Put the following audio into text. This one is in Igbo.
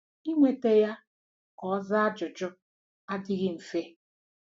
Inweta ya ka ọ zaa ajụjụ adịghị mfe.